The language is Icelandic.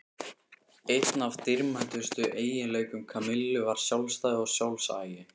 Einn af dýrmætustu eiginleikum Kamillu var sjálfstæði og sjálfsagi.